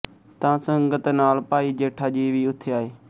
ਤਾਂ ਸੰਗਤ ਨਾਲ ਭਾਈ ਜੇਠਾ ਜੀ ਵੀ ਉੱਥੇ ਆਏ